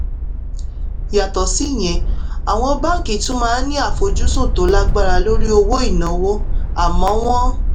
yàtọ̀ síyẹn àwọn báńkì tún máa ń ní àfojúsùn tó lágbára lórí owó ìnáwó àmọ́ wọn